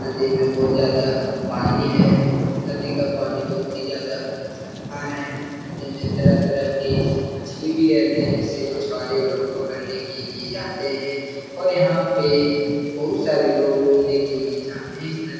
नदी मे बहुत ज्यादा पानी है नदी का पानी बहुत ही ज्यादा साफ है नदी में तरह-तरह की मछली भी रेहते है जिससे मछुवारे लोग पकड़ने के लिए जाते है और यहाँ पे बहुत सारे लोग घुमने के लिए जाते है ।--